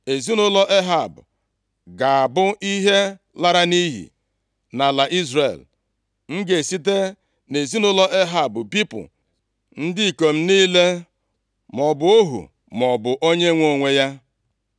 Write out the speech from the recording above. Ezinaụlọ Ehab ga-abụ ihe lara nʼiyi. Nʼala Izrel, m ga-esite nʼezinaụlọ Ehab bipụ ndị ikom niile, maọbụ ohu maọbụ onye nwe onwe ya.